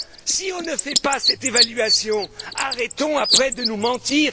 Si on ne fait pas cette évaluation, arrêtons après de nous mentir.